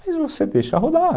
Mas você deixa rodar.